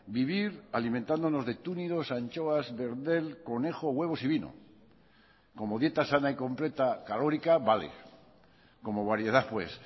vivir alimentándonos de túnidos anchoas verdel conejo huevos y vino como dieta sana y completa calórica vale como variedad pues